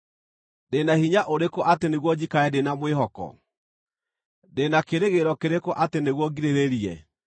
“Ndĩ na hinya ũrĩkũ atĩ nĩguo njikare ndĩ na mwĩhoko? Ndĩ na kĩĩrĩgĩrĩro kĩrĩkũ atĩ nĩguo ngirĩrĩrie?